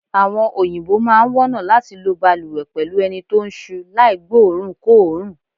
Àwo̩n òyìnbó máa wó̩nà láti lo balùwè pè̩lú eni tó ń s̩u láì gbóòórùnkóòórùn.